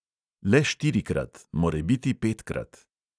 Le štirikrat, morebiti petkrat.